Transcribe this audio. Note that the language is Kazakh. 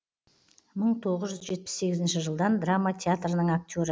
мың тоғыз жүз жетпіс сегізінші жылдан драма театрының актері